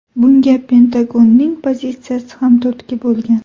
Bunga Pentagonning pozitsiyasi ham turtki bo‘lgan.